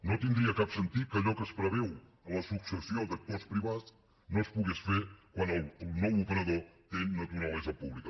no tindria cap sentit que allò que es preveu a la successió d’actors privats no es pogués fer quan el nou operador té naturalesa pública